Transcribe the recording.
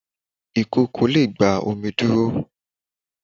ìkòkò le gba omi dúró